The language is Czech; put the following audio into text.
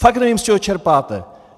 Fakt nevím, z čeho čerpáte.